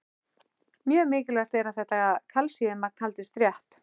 Mjög mikilvægt er að þetta kalsíummagn haldist rétt.